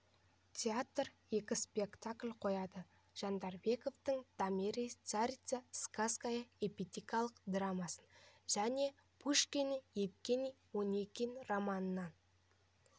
театры екі спектакль қояды жандарбековтың томирис царица сакская эпикалық драмасын және пушкиннің евгений онегин романынан